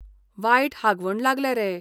वायट हागवण लागल्या रे.